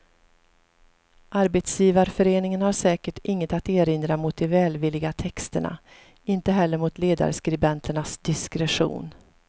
Arbetsgivarföreningen har säkert inget att erinra mot de välvilliga texterna, inte heller mot ledarskribenternas diskretion.